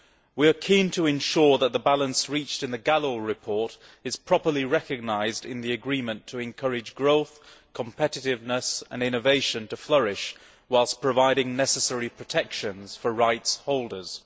We are keen to ensure that the balance reached in the Gallo report is properly recognised in the agreement to encourage growth, competitiveness and innovation to flourish, whilst providing necessary protections for rights holders.